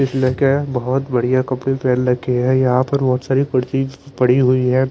इसने क्या हैं बहुत बढ़िया कपड़े पहन रखी हैं यहाँ पर बहुत सारी कुर्ती पड़ी हुई हैं।